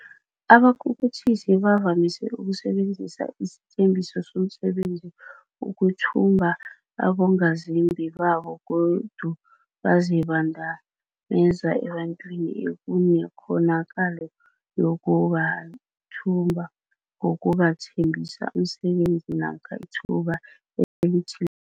Abakhukhuthisi bavamise ukusebenzisa isithembiso somsebenzi ukuthumba abongazimbi babo godu bazibandameza ebantwini ekunekghonakalo yokubathumba ngokubathembisa umsebenzi namkha ithuba elithi